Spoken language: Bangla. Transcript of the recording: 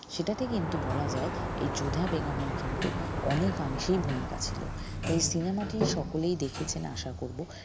সেটাতে কিন্তু বলা যায় এই যোধা বেগমের কিন্তু অনেকাংশেই ভূমিকা ছিল তাই cinema টি সকলেই দেখেছেন আশা করব